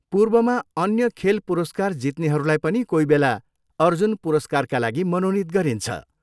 पूर्वमा अन्य खेल पुरस्कार जित्नेहरूलाई पनि कोहीबेला अर्जुन पुरस्कारका लागि मनोनित गरिन्छ।